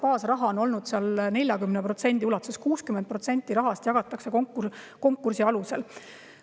Baasraha on olnud 40% ja 60% rahast jagatakse konkursi alusel.